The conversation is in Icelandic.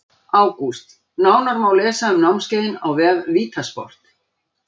ÁGÚST Nánar má lesa um námskeiðin á vef VITA sport.